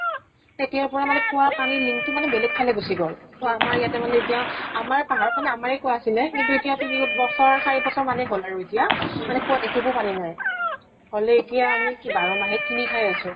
তেতিয়াৰ পৰা মানে কুঁৱাৰ পানীৰ link টো মানে বেলেগ ফালে গুছি গল। ত আমাৰ ইয়াতে মানে ইতিয়া আমাৰ পাহাৰ ফালে আমাৰে কুঁৱা আছিলে। কিন্তু এতিয়া তিনি ব ছৰ চাৰি বছৰ মানে হল আৰু এতিয়া। কুঁৱাত এটোপো পানী নাই। কলে আমি এতিয়া কি বাৰ মাহে পানী কিনি খাই আছো।